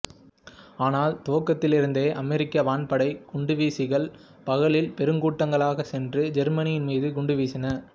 ஆனால் துவக்கத்திலிருந்தே அமெரிக்க வான்படை குண்டுவீசிகள் பகலில் பெருங்கூட்டங்களாகச் சென்று ஜெர்மனியின் மீது குண்டுவீசின